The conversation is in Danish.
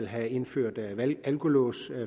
have indført alkolås